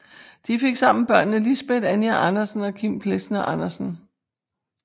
De fik sammen børnene Lisbet Anja Andersen og Kim Plesner Andersen